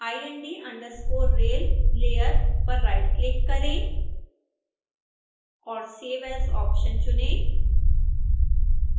ind_rail layer पर right click करें और save as ऑप्शन चुनें